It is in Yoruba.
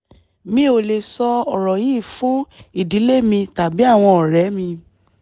mi ò lè sọ ọ̀rọ̀ yìí fún ìdílé mi tàbí àwọn ọ̀rẹ́ mi